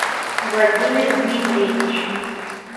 владимир дмитриевич